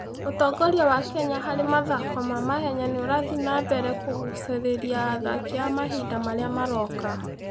Ũtongoria wa Kenya harĩ mathako ma mahenya no ũrathiĩ na mbere kũgucĩrĩria athaki a mahinda marĩa maroka.